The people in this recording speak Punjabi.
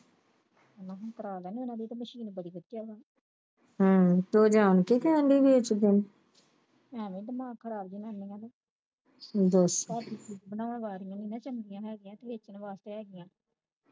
ਉਹਨਾਂ ਨੇ ਕਰਵਾ ਲੈਣੀ ਹੁਣ ਉਹਨਾ ਦੀ Machine ਬੜੀ ਵਧੀਆ ਵਾ ਆਵੇ ਦਿਮਾਗ ਖ਼ਰਾਬ ਜੰਨੀਆਂ ਦੇ ਵਾਰੀਆ ਨੀ ਚੰਗੀਆਂ ਹੈ ਗਈਆਂ ਤੇ ਵੇਚਣ ਵਾਸਤੇ ਹੈ ਗਈਆਂ